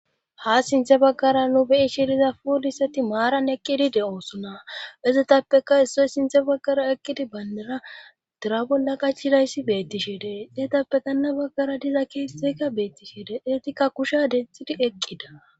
Ha sinthe baggara nu beyi shiriza puuliseti maaran eqqidi de7osunna izetappeka issoy sinthe baggara eqqidi bayndera dura bolla qachirayssi beettishede xeetappe tanna baggara diza keeseka beettishede etikka kusha dexxidi eqqida